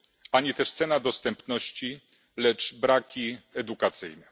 ani też cena dostępności, lecz braki edukacyjne.